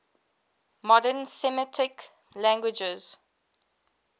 modern semitic languages